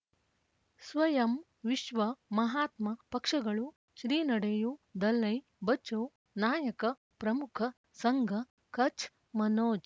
ಸ್ವಯಂ ವಿಶ್ವ ಮಹಾತ್ಮ ಪಕ್ಷಗಳು ಶ್ರೀ ನಡೆಯೂ ದಲೈ ಬಚೌ ನಾಯಕ ಪ್ರಮುಖ ಸಂಘ ಕಚ್ ಮನೋಜ್